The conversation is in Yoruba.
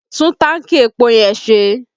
Tún tanki epo yẹn ṣe!